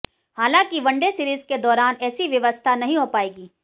हालांकि one day series के दौरान ऐसी व्यवस्था नहीं हो पाएगी